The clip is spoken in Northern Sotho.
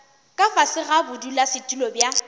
ka fase ga bodulasetulo bja